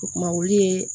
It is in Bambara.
O kuma olu ye